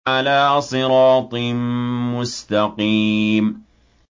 عَلَىٰ صِرَاطٍ مُّسْتَقِيمٍ